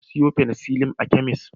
Na sayo penecillin a kemis.